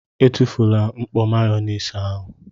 Etufula mkpọ Mayonaise ahụ!!!!